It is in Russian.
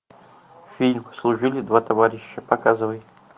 фильм служили два товарища показывай